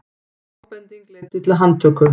Ábending leiddi til handtöku